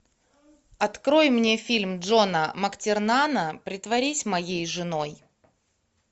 открой мне фильм джона мактернана притворись моей женой